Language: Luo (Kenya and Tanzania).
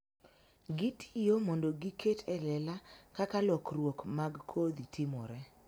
Gitiyo mondo giket e lela kaka lokruok mag kodhi timore